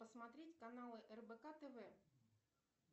посмотреть каналы рбк тв